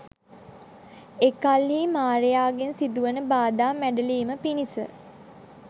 එකල්හි මාරයාගෙන් සිදුවන බාධා මැඬලීම පිණිස